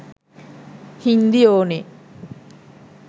හින්දි ඕනේ